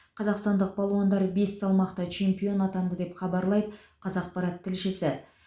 қазақстандық балуандар бес салмақта чемпион атанды деп хабарлайды қазақпарат тілшісі